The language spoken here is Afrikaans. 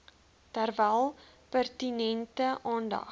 terwyl pertinente aandag